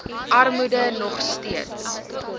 armoede nog steeds